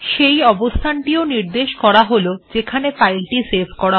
সেই অবস্থান টিও নির্দেশ করা হল যেখানে ফাইলটি সেভ করা হবে